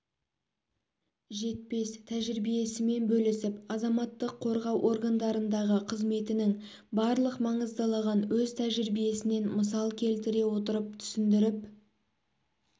жетпес тәжірибесімен бөлісіп азаматтық қорғау органдарындағы қызметінің барлық маңыздылығын өз тәжірибесінен мысал келтіре отырып түсіндіріп